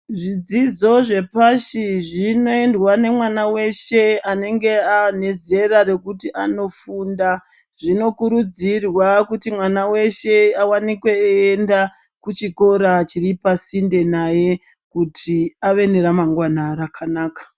Zvidzidzo zvepashi zvinoendwa nemwana weshe anenge ane zera rokuti anofunda zvinokurudzirwa kuti mwana weshe awanikwe eenda kuchikora chiri pasinde naye kuti ave neramangwana rakanaka.